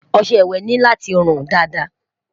ọsẹ ìwé ní láti run Dàda